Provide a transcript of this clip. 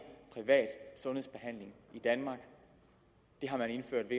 privat sundhedsbehandling i danmark det har man indført